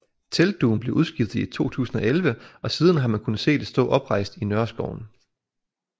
Teltdugen blev udskiftet i 2011 og siden har man kunne se det stå oprejst i Nørreskoven